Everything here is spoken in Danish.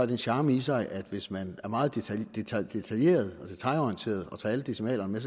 den charme i sig at hvis man er meget detailorienteret detailorienteret og tager alle decimalerne